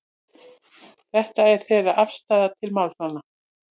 Þetta er þeirra afstaða til málanna